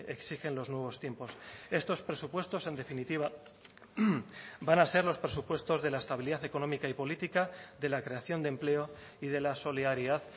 exigen los nuevos tiempos estos presupuestos en definitiva van a ser los presupuestos de la estabilidad económica y política de la creación de empleo y de la solidaridad